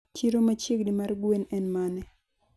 chiro machiegni mar gwen en mane